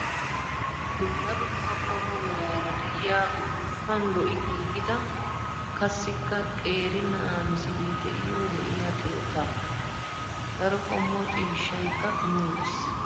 dumma dumma qommo meraara diyaa upuuppan lo''i giigida kassikka qeeri na''aa misilee diyoo lo'iyaa keettaaa. Daro qommo ciishshayikka kumi uttis.